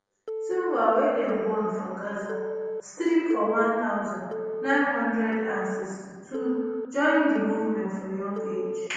sinwar wey dem born for gaza strip for one thousand, nine hundred and sixty-two join di movement for young age